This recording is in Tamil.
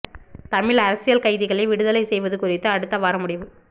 தமிழ் அரசியல் கைதிகளை விடுதலை செய்வது குறித்து அடுத்த வாரம் முடிவு